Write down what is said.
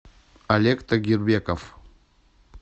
олег тагирбеков